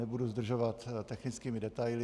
Nebudu zdržovat technickými detaily.